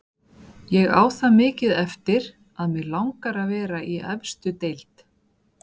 Ég á það mikið eftir að mig langar að vera í efstu deild.